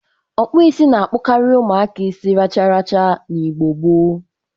Ọkpụisi na-akpọkarị ụmụaka isi racharacha na Igbo gboo.